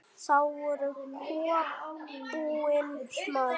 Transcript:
Þá voru kúabúin smá.